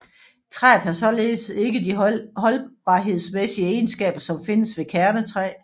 Træet har således ikke de holdbarhedsmæssige egenskaber som findes ved kernetræ